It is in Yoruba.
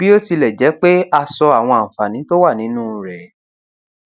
bí ó tilẹ jẹ pé a sọ àwọn àǹfààní tó wà nínú rẹ